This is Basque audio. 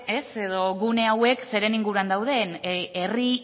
edo gune hauek zeren inguruan dauden herri